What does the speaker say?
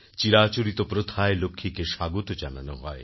চিরাচরিত প্রথায় লক্ষ্মীকে স্বাগত জানানো হয়